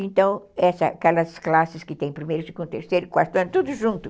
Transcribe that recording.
Então, essas, aquelas classes que tem primeiro, segundo, terceiro, quarto ano, tudo junto.